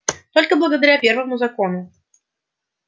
только благодаря первому закону